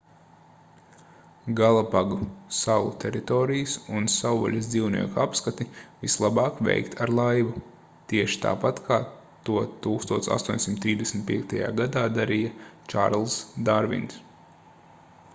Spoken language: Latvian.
galapagu salu teritorijas un savvaļas dzīvnieku apskati vislabāk veikt ar laivu tieši tāpat kā to 1835. gadā darīja čārlzs darvins